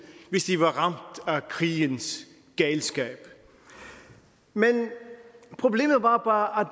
hvis de var ramt af krigens galskab men problemet var bare